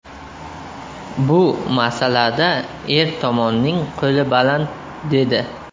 Bu masalada er tomonning qo‘li baland”, dedi.